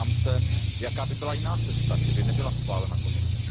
Ptám se Jaká by byla jiná cesta, kdyby nebyla schválena Komise?